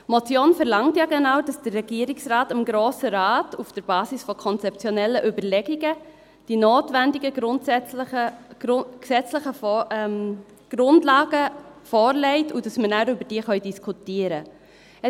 Die Motion verlangt ja genau, dass der Regierungsrat dem Grossen Rat auf der Basis von konzeptionellen Überlegungen die notwendigen gesetzlichen Grundlagen vorlegt und dass wir danach darüber diskutieren können.